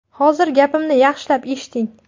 Hozir gapimni yaxshilab eshiting.